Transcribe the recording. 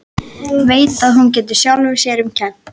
Veit að hún getur sjálfri sér um kennt.